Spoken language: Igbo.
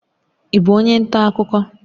Ị bụ onye nta akụkọ?